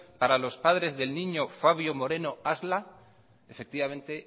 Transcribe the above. para los padres del niño fabio moreno asla efectivamente